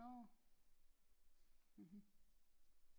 Nårh mhm